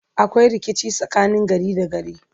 akwai rikici tsakanin gari da gari